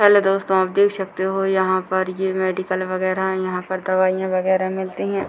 Hello दोस्तों आप देख सकते हो यहाँ पर ये मेडिकल वगेरह है यहाँ पर दवाईयाँ वगेरह मिलती है ।